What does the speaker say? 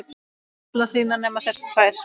allar þínar nema þessar tvær.